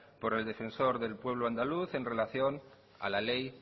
por el defensor del pueblo andaluz en relación a la ley